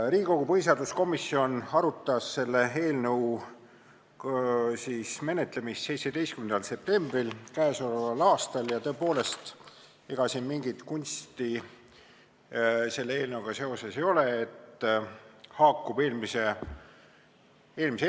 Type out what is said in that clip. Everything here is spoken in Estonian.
Riigikogu põhiseaduskomisjon arutas selle eelnõu menetlemist 17. septembril k.a. Tõepoolest, ega mingit kunsti selle eelnõuga seoses ei ole, see haakub eelmise eelnõuga.